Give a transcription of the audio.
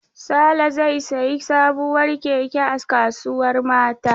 Sale zai sayi sabuwar keke a kasuwar Mata.